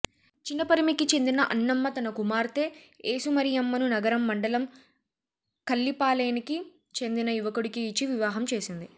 చినపరిమికి చెందిన అన్నమ్మ తన కుమార్తె ఏసుమరియమ్మను నగరం మండలం కల్లిపాలేనికి చెందిన యువకుడికి ఇచ్చి వివాహం చేసింది